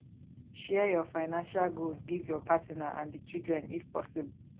share your financial goals give your partner and di children if possible